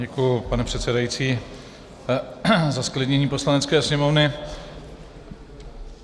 Děkuji, pane předsedající, za zklidnění Poslanecké sněmovny.